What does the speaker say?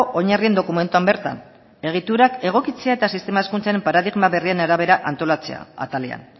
oinarrien dokumentuan bertan egiturak egokitzea eta sistema hezkuntza paradigma berrien arabera antolatzea atalean